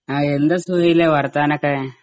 ആ എന്താ സുഹൈലേ വർത്താനൊക്കെ?